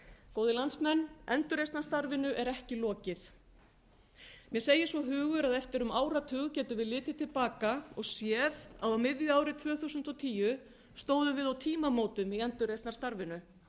góðir landsmenn endurreisnarstarfinu er ekki lokið mér segir svo hugur að eftir um áratug getum við litið til baka og séð að á miðju ári tvö þúsund og tíu stóðum við á tímamótum í endurreisnarstarfinu